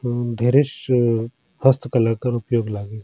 उम्म dress first colour कर उपयोग लागे।